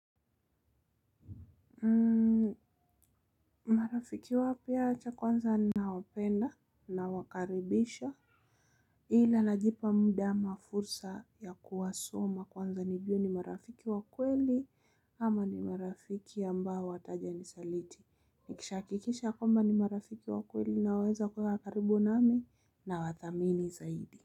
Marafiki wapi yacha kwanza ninawapenda nawakaribisha ila najipa muda ama fursa ya kuwasoma kwanza nijue ni marafiki wakweli ama ni marafiki ambao wataja nisaliti. Nikishahakikisha kwamba ni marafiki wakweli nao weza kuweka karibu nami na wadhamini zaidi.